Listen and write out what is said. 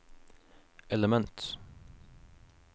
element